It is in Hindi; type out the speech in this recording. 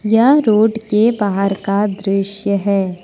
यह रोड के बाहर का दृश्य है।